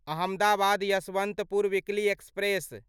Ahmedabad Yesvantpur weekly express